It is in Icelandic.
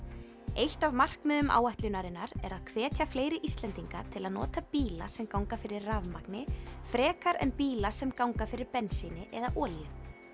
eitt af markmiðum áætlunarinnar er að hvetja fleiri Íslendinga til að nota bíla sem ganga fyrir rafmagni frekar en bíla sem ganga fyrir bensíni eða olíu